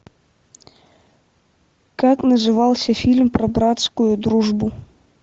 как назывался фильм про братскую дружбу